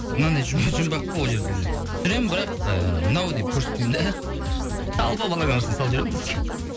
мынандай жұмбақ қой ол жерде де түсіремін бірақ ыыы мынау деп көрсетпеймін де талпа баланың арасына салып жіберемін